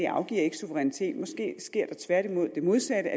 afgives suverænitet måske sker der tværtimod det modsatte